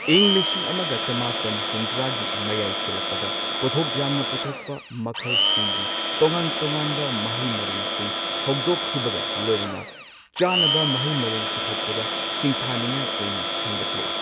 ꯏꯪ ꯂꯤꯁꯤꯡ ꯑꯃꯒ ꯆꯃꯥꯄꯟ ꯍꯨꯝꯗ꯭ꯔꯥꯒꯤ ꯃꯌꯥꯏ ꯆꯜꯂꯛꯄꯗ ꯄꯣꯠꯊꯣꯛ ꯌꯥꯝꯅ ꯄꯨꯊꯣꯛꯄ ꯃꯈꯜꯁꯤꯡꯒꯤ ꯇꯣꯉꯥꯟ ꯇꯣꯉꯥꯟꯕ ꯃꯍꯩ ꯃꯔꯣꯡꯁꯤꯡ ꯍꯧꯗꯣꯛꯈꯤꯕꯒ ꯂꯣꯏꯅꯅ ꯆꯥꯅꯕ ꯃꯍꯩ ꯃꯔꯣꯡ ꯄꯨꯊꯣꯛꯄꯗ ꯁꯤꯡꯊꯥꯅꯤꯡꯉꯥꯏ ꯑꯣꯏꯅ ꯍꯦꯟꯒꯠꯂꯦ꯫